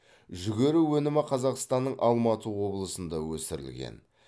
жүгері өнімі қазақстанның алматы облысында өсірілген